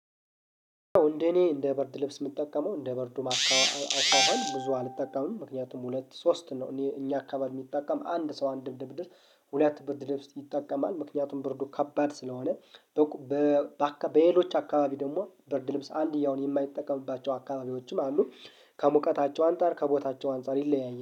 እንደኔ እንደ በርድ ልብስ የምጠቀመው እንደ ብርዱ አኳኋን ብዙ አልጠቀምም። ምክንያቱም ሁለት ሶስት ነው አኔ እኛ አካባቢ የሚጠቀም አንድ ሰው አንድ ብርድ ልብስ ድር ሁለት ብርድልብስ ይጠቀማል ምክንያቱም ብርዱ ከባድ ስለሆነ። በሌሎች አካባቢ ደግሞ ብርድ ልብስ አንድ ያውን የማይጠቀምባቸው አካባቢዎችም አሉ። ከሙቀታቸው አንፃር ከቦታቸው አንፃር ይለያያል